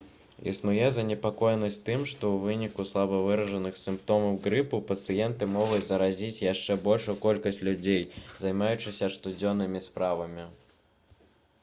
існуе занепакоенасць тым што ў выніку слаба выражаных сімптомаў грыпу пацыенты могуць заразіць яшчэ большую колькасць людзей займаючыся штодзённымі справамі